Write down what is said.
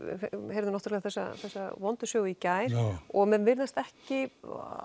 heyrðum þessa þessa vondu sögu í gær og menn virðast ekki